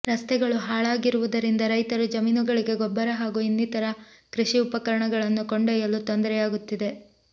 ರಸ್ತೆಗಳು ಹಾಳಾಗಿರುವುದರಿಂದ ರೈತರು ಜಮೀನುಗಳಿಗೆ ಗೊಬ್ಬರ ಹಾಗೂ ಇನ್ನಿತರ ಕೃಷಿ ಉಪಕರಣಗಳನ್ನು ಕೊಂಡೊಯ್ಯಲು ತೊಂದರೆಯಾಗುತ್ತಿದೆ